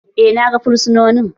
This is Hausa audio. Eh na gan fursononin